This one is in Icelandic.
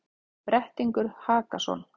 Brettingur Hakason,